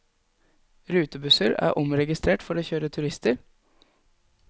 Rutebusser er omregistrert for å kjøre turister.